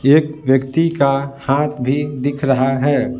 एक व्यक्ति का हाथ भी दिख रहा है।